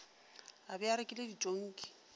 a be a rekile ditonki